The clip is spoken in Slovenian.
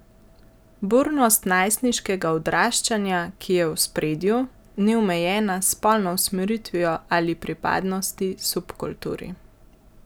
Burnost najstniškega odraščanja, ki je v ospredju, ni omejena s spolno usmeritvijo ali pripadnosti subkulturi.